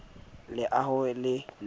leaho e ne e le